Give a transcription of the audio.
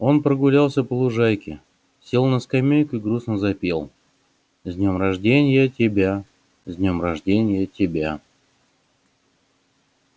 он прогулялся по лужайке сел на скамейку и грустно запел с днём рожденья тебя с днём рожденья тебя